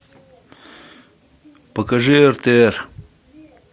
покажи ртр